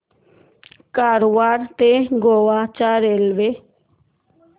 कारवार ते गोवा च्या रेल्वे